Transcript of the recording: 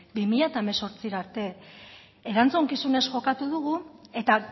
bi mila hemezortzira arte erantzukizunez jokatu dugu eta